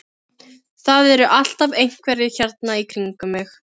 Það eru alltaf einhverjir hérna í kringum mig.